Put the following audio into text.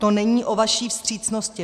To není o vaší vstřícnosti.